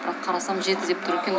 бірақ қарасам жеті деп тұр екен